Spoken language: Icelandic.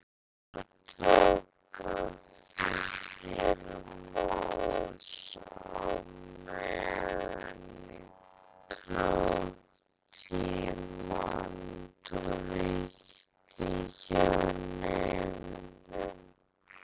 Andrea tók aftur til máls á meðan kátínan ríkti hjá nemendunum.